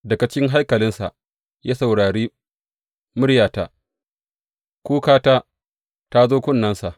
Daga cikin haikalinsa ya saurare muryata; kukata ta zo kunnensa.